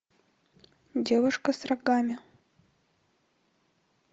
девушка с рогами